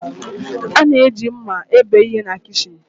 A na-eji mma ebe ihe na kichin.